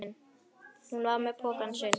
Hún var með pokann sinn.